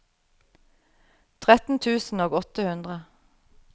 tretten tusen og åtte hundre